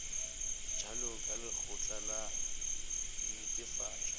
bjalo ka lekgotla la netefatšo